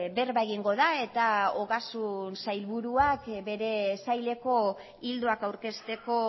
berba egingo da eta ogasun sailburuak bere saileko ildoak aurkezteko